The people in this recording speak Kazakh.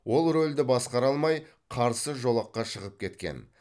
ол рөлді басқара алмай қарсы жолаққа шығып кеткен